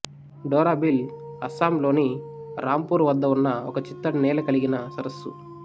Dora Beel Assam లోని రాంపూర్ వద్ద ఉన్న ఒక చిత్తడి నేల కలిగిన సరస్సు